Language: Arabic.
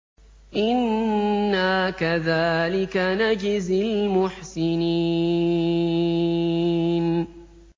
إِنَّا كَذَٰلِكَ نَجْزِي الْمُحْسِنِينَ